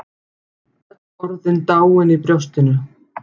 Orðin öll dáin í brjóstinu.